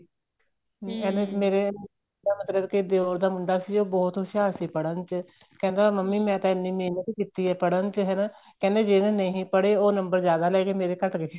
ਐਵੇ ਮੇਰੇ ਮਤਲਬ ਕੇ ਦਿਉਰ ਦਾ ਮੁੰਡਾ ਸੀ ਉਹ ਬਹੁਤ ਹੁਸ਼ਿਆਰ ਚੀ ਪੜਨ ਚ ਕਹਿੰਦਾ ਮੰਮੀ ਮੈਂ ਤਾਂ ਐਨੀ ਮੇਹਨਤ ਕੀਤੀ ਏ ਪੜਨ ਹੈਨਾ ਕਹਿੰਦੇ ਜਿਹੜੇ ਨਹੀਂ ਪੜੇ ਉਹ ਨੰਬਰ ਜਿਆਦਾ ਲੈਗੇ ਮੇਰੇ ਘੱਟ ਰਹਿ ਗਏ